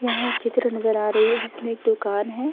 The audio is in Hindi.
यहाँ एक चित्र नज़र आ रही है जिसमे एक दुकान है।